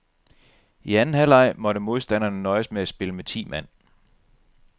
I anden halvleg måtte modstanderne nøjes med at spille med ti mand.